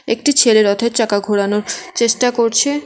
একটি ছেলে রথের চাকা ঘোরানোর চেষ্টা করছে।